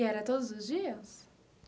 E era todos os dias?